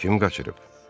Kim qaçırıb?